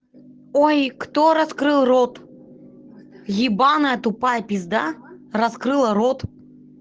ой кто раскрыл рот ебаная тупая пизда раскрыла рот